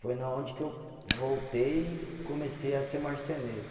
Foi na onde que eu voltei e comecei a ser marceneiro.